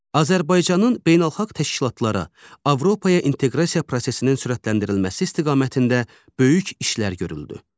Azərbaycanın beynəlxalq təşkilatlara, Avropaya inteqrasiya prosesinin sürətləndirilməsi istiqamətində böyük işlər görüldü.